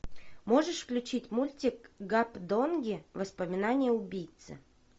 можешь включить мультик гапдонги воспоминания убийцы